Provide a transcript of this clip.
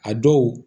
A dɔw